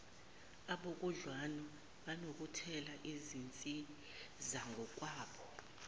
abakhudlwana banokuletha izinsizangokwabo